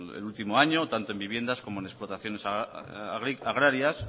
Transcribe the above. el último año tanto en viviendas como en explotaciones agrarias